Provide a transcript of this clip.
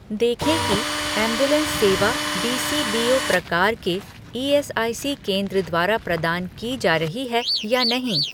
देखें कि एंबुलेंस सेवा डीसीबीओ प्रकार के ईएसआईसी केंद्र द्वारा प्रदान की जा रही है या नहीं